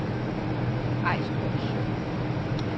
Ejstrup Sø